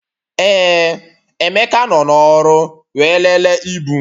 Ee, Emeka nọ n'ọrụ wee lelee ibu